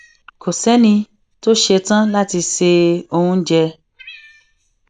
kò séni tó ṣetán láti se oúnjẹ